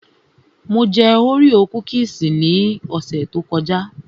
Mo mú Oreo kúkìsì ní ọ̀sẹ̀ tó kọjá